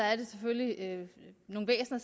er det selvfølgelig nogle væsener